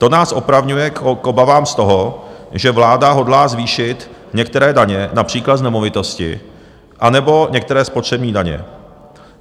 To nás opravňuje k obavám z toho, že vláda hodlá zvýšit některé daně, například z nemovitosti anebo některé spotřební daně.